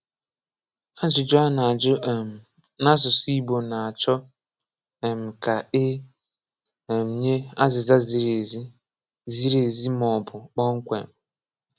Àjùjù̀ à nà-àjù̀ um n’asụsụ̀ Igbò nà-chọ̀ um kà è um nyè àzìzà zìrì ezì zìrì ezì mà ọ̀ bụ̀ kpọ̀mkwèm.